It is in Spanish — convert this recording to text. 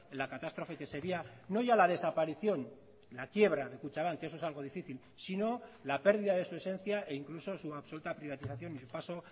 la catástrofe que sería no ya la desaparición la quiebra de kutxabank eso es algo difícil sino la pérdida de su esencia e incluso su absoluta privatización y el paso